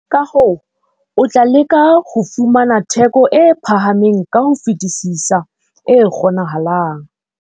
Ka hoo, o tla leka ho fumana theko e phahameng ka ho fetisisa e kgonahalang.